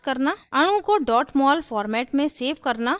अणु को mol format में सेव करना